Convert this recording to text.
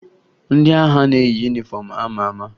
Ndị agha na-eyi yunifọmụ a ma ama